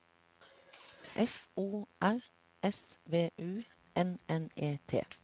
F O R S V U N N E T